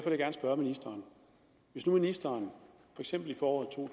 jeg gerne spørge ministeren hvis nu ministeren for eksempel i foråret to